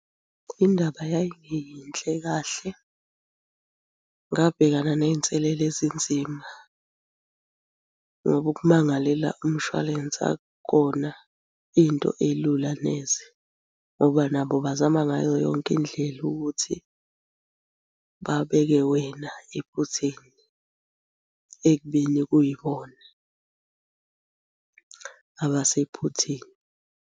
Indaba yayingeyinhle kahle, ngabhekana ney'nselele ezinzima ngoba ukumangalela umshwalense akukona into elula neze ngoba nabo bazama ngayo yonke indlela ukuthi babeke wena ephutheni ekubeni kuyibona abasephutheni.